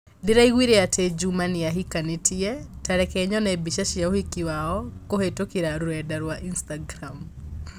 Ndĩraiguire atĩ Juma nĩ ahikanĩtie, ta reke nyone mbica cia ũhiki wao kũhītũkīra rũrenda rũa Instagram